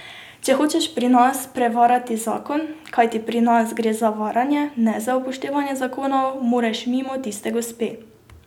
Če hočeš pri nas prevarati zakon, kajti pri nas gre za varanje, ne za upoštevanje zakonov, moraš mimo tiste gospe.